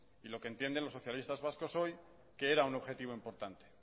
y lo que entienden los socialistas vasco hoy que era un objetivo importante